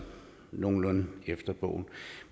nogenlunde efter bogen